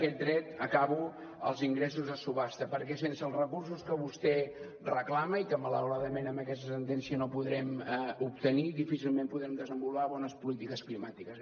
aquest dret acabo als ingressos de subhasta perquè sense els recursos que vostè reclama i que malauradament amb aquesta sentència no podrem obtenir difícilment podrem desenvolupar bones polítiques climàtiques